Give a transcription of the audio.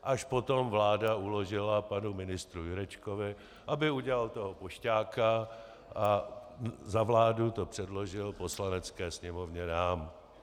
Až potom vláda uložila panu ministru Jurečkovi, aby udělal toho pošťáka a za vládu to předložil Poslanecké sněmovně, nám.